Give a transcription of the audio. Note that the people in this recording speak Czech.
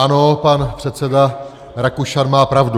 Ano, pan předseda Rakušan má pravdu.